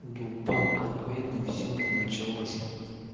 дубак конкретный все там началось